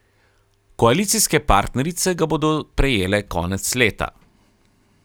Koalicijske partnerice ga bodo prejele konec leta.